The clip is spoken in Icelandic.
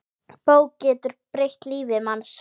Bók getur breytt lífi manns.